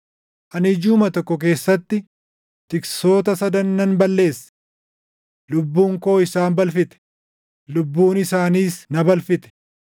Ani jiʼuma tokko keessatti tiksoota sadan nan balleesse. Lubbuun koo isaan balfite; lubbuun isaaniis na balfite;